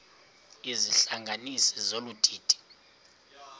izihlanganisi zolu didi